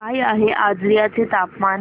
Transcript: काय आहे आजर्याचे तापमान